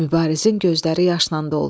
Mübarizin gözləri yaşla doldu.